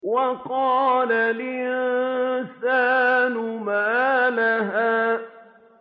وَقَالَ الْإِنسَانُ مَا لَهَا